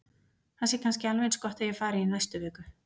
Það sé kannski alveg eins gott að ég fari í næstu viku.